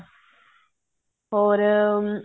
ਹੋਰ ਹਮ